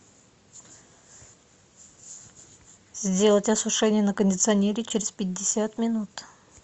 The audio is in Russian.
сделать осушение на кондиционере через пятьдесят минут